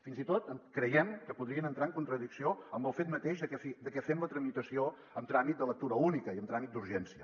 fins i tot creiem que podrien entrar en contradicció amb el fet mateix de que fem la tramitació amb tràmit de lectura única i amb tràmit d’urgència